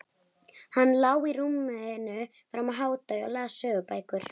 Hann lá í rúminu fram yfir hádegi og las sögubækur.